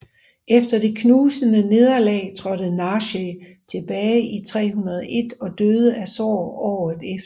Efter det knusende nederlag trådte Narseh tilbage i 301 og døde af sorg året efter